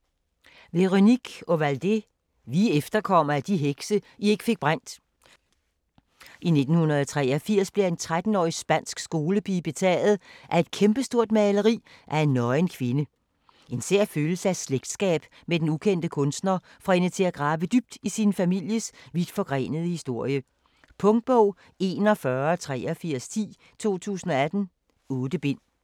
Ovaldé, Véronique: Vi er efterkommerne af de hekse, I ikke fik brændt I 1983 bliver en 13-årig spansk skolepige betaget af et kæmpestort maleri af en nøgen kvinde. En sær følelse af slægtsskab med den ukendte kunstner får hende til at grave dybt i sin families vidtforgrenede historie. Punktbog 418310 2018. 8 bind.